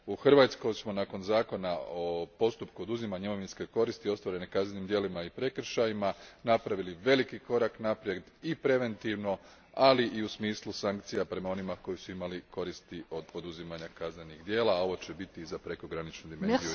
U Hrvatskoj smo nakon zakona o postupku oduzimanja imovinske koristi ostvarene kaznenim djelima i prekršajima napravili veliki korak naprijed i preventivno, ali i u smisli sankcija prema onima koji su imali koristi od poduzimanja kaznenih djela, a ovo će biti i za prekograničnu dimenziju